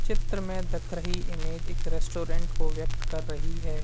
चित्र में धख रही इमेज एक रेस्टोरेंट को व्यक्त कर रही है।